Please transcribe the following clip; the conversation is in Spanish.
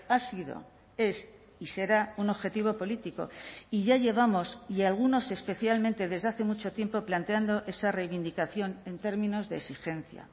ha sido es y será un objetivo político y ya llevamos y algunos especialmente desde hace mucho tiempo planteando esa reivindicación en términos de exigencia